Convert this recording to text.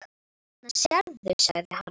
Þarna sérðu, sagði hann.